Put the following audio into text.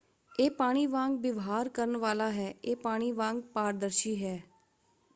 "ਇਹ ਪਾਣੀ ਵਾਂਗ ਵਿਵਹਾਰ ਕਰਨ ਵਾਲਾ ਹੈ। ਇਹ ਪਾਣੀ ਵਾਂਗ ਪਾਰਦਰਸ਼ੀ ਹੈ।